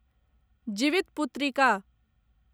Jivitputrika